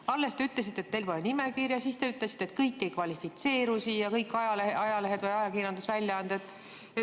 Alles te ütlesite, et teil pole nimekirja, ja siis te ütlesite, et kõik ajalehed või ajakirjandusväljaanded ei kvalifitseeru siia.